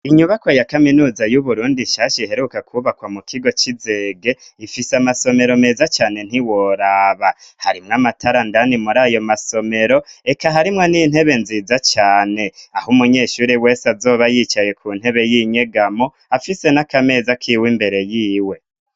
Inyubako ya kaminuza y'uburundi nshasha iheruka kubakwa mu kigo c'izege ifise amasomero meza cane ntiworaba harimwo amatara ndani muri ayo masomero eka harimwo n'intebe nziza cane aho umunyeshuri wese azoba yicaye ku ntebe y'inyegamo afise n'akameza kiwe imbere yiwe.